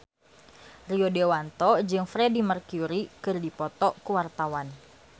Rio Dewanto jeung Freedie Mercury keur dipoto ku wartawan